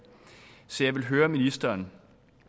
så jeg vil høre ministeren